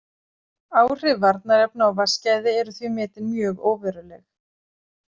Áhrif varnarefna á vatnsgæði eru því metin mjög óveruleg.